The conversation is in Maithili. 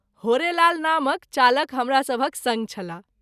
होरेलाल नामक चालक हमरा सभहक संग छलाह।